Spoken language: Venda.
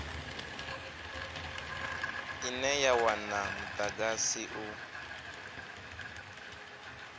ine ya wana mudagasi u